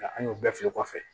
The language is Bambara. Nka an y'o bɛɛ filɛ kɔfɛ